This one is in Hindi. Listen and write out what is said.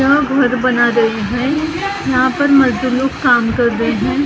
यहाँ घर बना रहे हैं यहाँ पर मजदूर लोग काम कर रहे हैं ।